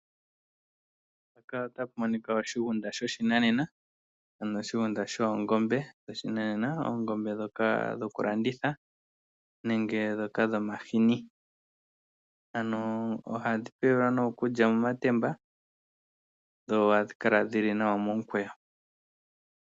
Oshigunda shoongombe shoshinanena, oongombe ndhoka dhoku landitha nenge ndhoka dhomahini ano ohadhi pewelwa nee okulya momatemba dho ohadhi kala dhili nawa momukweyo.